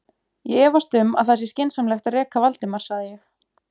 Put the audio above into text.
Ég efast um að það sé skynsamlegt að reka Valdimar sagði ég.